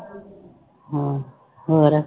ਹਾਂ, ਹੋਰ?